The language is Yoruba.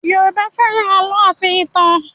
Yoruba fẹ́ràn àlọ́ àti ìtàn